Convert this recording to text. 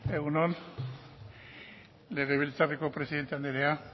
egun on legebiltzarreko presidente anderea